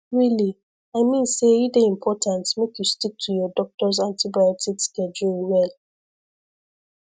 really i mean say e dey important make you stick to your doctors antibiotic schedule well